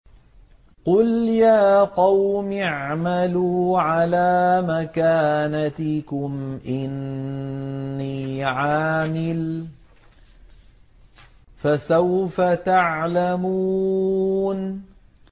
قُلْ يَا قَوْمِ اعْمَلُوا عَلَىٰ مَكَانَتِكُمْ إِنِّي عَامِلٌ ۖ فَسَوْفَ تَعْلَمُونَ